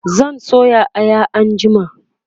zan soya Aya anjima